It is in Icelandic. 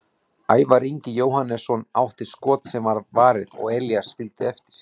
Ævar Ingi Jóhannesson átti skot sem var varið og Elías fylgdi eftir.